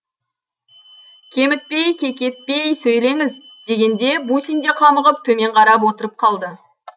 кемітпей кекетпей сөйлеңіз дегенде бусин де қамығып төмен қарап отырып қалды